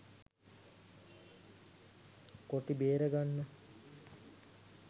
කොටි බේර ගන්න.